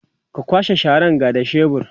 ka kwashe Sharan ga da shebur